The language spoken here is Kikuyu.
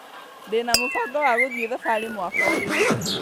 Ndĩna mũbango wa gũthiĩ thabarĩ mwaka ũyũ